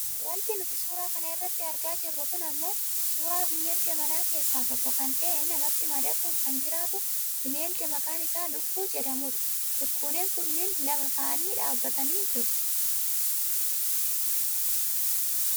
Wanti nuti suura kana irratti argaa jirru kun ammoo suuraa bineelda manaa keessaa tokko kan ta'e namatti madaquun kan jiraatu bineelda maqaan isaa lukkuu jedhamudha lukkuuleen kunneen lama ta'anii dhaabbatanii jiru.